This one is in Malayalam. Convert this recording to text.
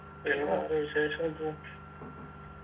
പിന്നെ വേറെ വിശേഷം ഇപ്പൊ